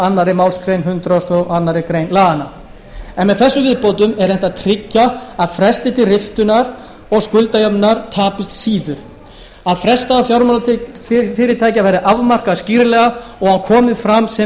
annarri málsgrein hundrað og aðra grein laganna er með þessum viðbótum reynt að tryggja að frestir til riftunar og skuldajöfnuðar tapist síður að frestdagur fjármálafyrirtækja verði afmarkaður skýrlega og að hann komi fram sem